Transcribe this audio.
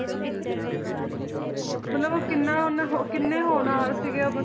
ਮਤਲਬ ਉਹ ਕਿੰਨਾ ਉਹਨੇ ਹੋ~ ਕਿੰਨੇ ਹੋਨਹਾਰ ਸੀਗੇ ਉਹ